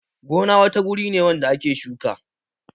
Gona wata guri ne wanda ake shuka